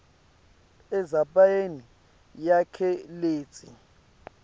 endzabeni yakhe letsi